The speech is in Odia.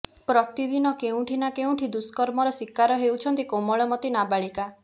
ପ୍ରତି ଦିନ କେଉଠି ନା କେଉଠି ଦୁଷ୍କର୍ମର ଶୀକାର ହେଉଛନ୍ତି କୋମଳମତି ନାବାଳିକା